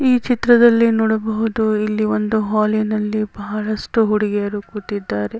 ಈ ಚಿತ್ರದಲ್ಲಿ ನೋಡಬಹುದು ಇಲ್ಲಿ ಒಂದು ಹಾಲ್ ಇನಲ್ಲಿ ಬಹಳಷ್ಟು ಹುಡುಗಿಯರು ಕೂತಿದ್ದಾರೆ.